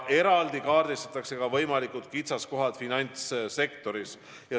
Eraldi kaardistatakse ka võimalikud kitsaskohad finantssektoris.